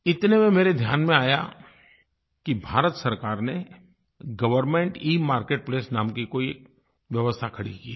इतने में मेरे ध्यान में आया कि भारत सरकार ने गवर्नमेंट इमार्केटप्लेस नाम की कोई व्यवस्था खड़ी की है